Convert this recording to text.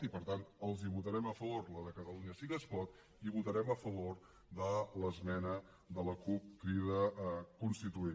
i per tant els hi votarem a favor la de catalunya sí que es pot i votarem a favor de l’esmena de la cup crida constituent